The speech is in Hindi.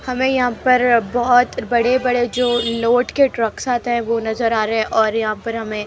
हमें यहां पर बहोत बड़े बड़े जो लोड के ट्रक्स आते है वो नजर आ रहे हैं और यहां पर हमें--